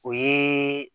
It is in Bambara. O ye